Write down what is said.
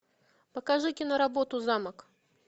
покажи киноработу замок